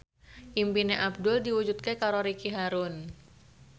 impine Abdul diwujudke karo Ricky Harun